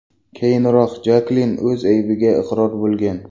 Keyinroq Jaklin o‘z aybiga iqror bo‘lgan.